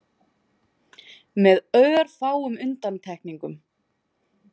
Með örfáum undantekningum.